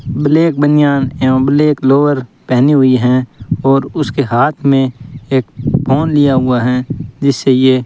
black बनियान एवं black lower पहनी हुई हैं और उसके हाथ में एक फोन लिया हुआ है जिससे ये --